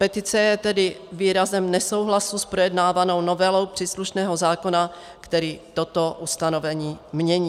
Petice je tedy výrazem nesouhlasu s projednávanou novelou příslušného zákona, který toto ustanovení mění.